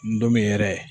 Ndomɛn yɛrɛ